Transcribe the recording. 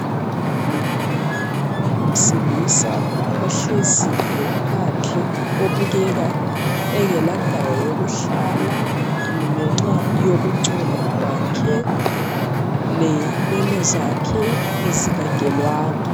Umuntu wesilisa ohleziyo phandle obukeka engela ndawo yokuhlala ngenxa yokungcola kwakhe lenwele zakhe ezingagelwanga.